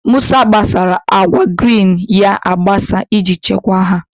Musa gbasara akwa grin ya agbasa iji chekwa ha.